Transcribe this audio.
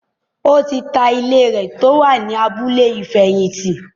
ó ti ta ilé rẹ̀ tó wà ní “ abúlé ìfẹ̀yìntì”.